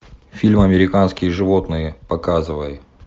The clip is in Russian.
фильм американские животные показывай